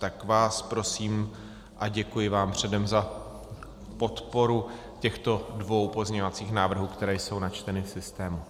Tak vás prosím a děkuji vám předem za podporu těchto dvou pozměňovacích návrhů, které jsou načteny v systému.